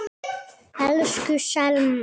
Elsku Selma.